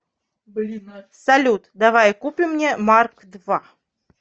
салют давай купим мне марк два